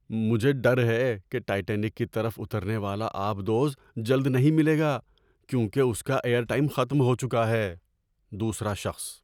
مجھے ڈر ہے کہ ٹائٹینک کی طرف اترنے والا آب دوز جلد نہیں ملے گا کیونکہ اس کا ایئر ٹائم ختم ہو چکا ہے۔ (دوسرا شخص)